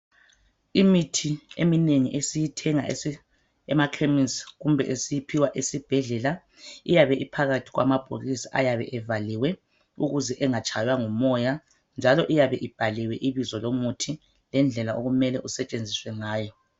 Imithi eminengi esiyithenga emakhemesi. Kumbe esiyiphiwa esibhedlela iyabe phakhathi kwamabhokisi ayabe evaliwe, ukuze engatshawa ngumoya, njalo ayabe ebhaliwe ibizo lomuthi. Ngendlela okumele isetshenziswe ngayo